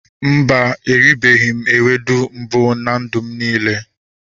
Mba, erubeghị m ewedu mbụ na ndụ m niile